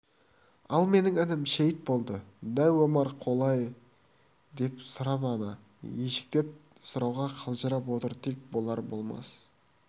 ал менің інім шейіт болды дәу омар қалай деп сұрамады ежіктеп сұрауға қалжырап отыр тек болар-болмас